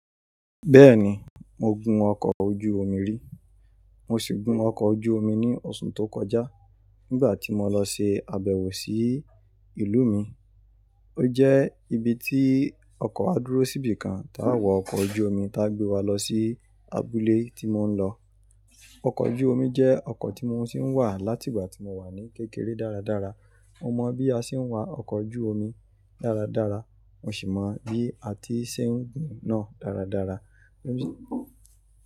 Bẹ́ẹ̀ni, mo gun ọkọ̀ ojú omi rí. Mo sì gun ọkọ̀ ojú omi ní ọ̀ṣun tó kọjá nígbà tí mo lọ ṣe àbẹ̀wò sí ìlú mi. Ó jẹ́ ibi tí ọkọ̀ á dúró síbì kan táa wọ ọkọ̀ ojú omi tá gbé wa lọ sí abúlé tí mo ń lọ. Ọkọ̀ ojú omi jẹ́ ọkọ̀ tí mo tì ń wá láti ìgbà tí mo wà ní kékeré dáradára. Mo mọ̀ bí a ṣe ń wa ọkọ̀ ojú omi dáradára, mo sì mọ bí a ti ṣe ń gùn náà dáradára.